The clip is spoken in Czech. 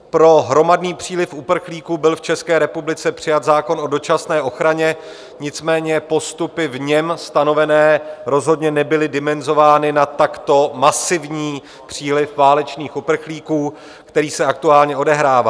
Pro hromadný příliv uprchlíků byl v České republice přijat zákon o dočasné ochraně, nicméně postupy v něm stanovené rozhodně nebyly dimenzovány na takto masivní příliv válečných uprchlíků, který se aktuálně odehrává.